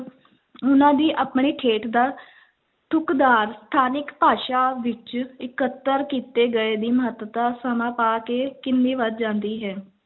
ਉਹਨਾਂ ਦੀ ਆਪਣੀ ਠੇਠ ਦਾ ਠੁੱਕਦਾਰ ਸਥਾਨਿਕ ਭਾਸ਼ਾ ਵਿੱਚ ਇਕੱਤਰ ਕੀਤੇ ਗਏ ਦੀ ਮਹੱਤਤਾ ਸਮਾਂ ਪਾ ਕੇ ਕਿੰਨੀ ਵਧ ਜਾਂਦੀ ਹੈ।